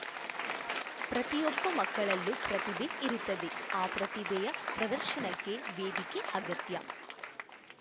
ಪ್ರತಿಯೊಬ್ಬ ಮಕ್ಕಳಲ್ಲೂ ಪ್ರತಿಭೆ ಇರುತ್ತದೆ ಆ ಪ್ರತಿಭೆಯ ಪ್ರದರ್ಶನಕ್ಕೆ ವೇದಿಕೆ ಅಗತ್ಯ